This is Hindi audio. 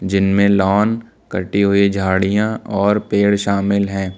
जिनमें लॉन कटी हुई झाड़ियां और पेड़ शामिल हैं।